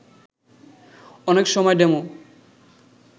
অনেক সময় ডেমো